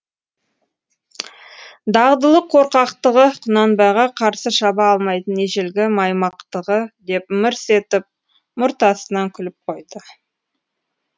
дағдылы қорқақтығы құнанбайға қарсы шаба алмайтын ежелгі маймақтығы деп мырс етіп мұрт астынан күліп қойды